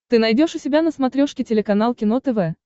ты найдешь у себя на смотрешке телеканал кино тв